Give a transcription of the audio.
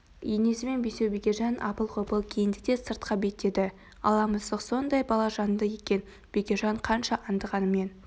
енесімен бесеу бекежан апыл-ғұпыл киінді де сыртқа беттеді ала мысық соңдай балажанды екен бекежан қанша аңдығанымен